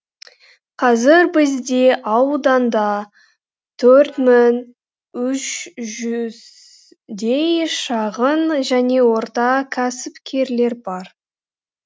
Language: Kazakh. қазір бізде ауданда төрт мың үш жүздей шағын және орта кәсіпкерлер бар